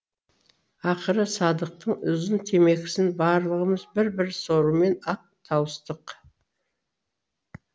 ақыры садықтың ұзын темекісін барлығымыз бір бір сорумен ақ тауыстық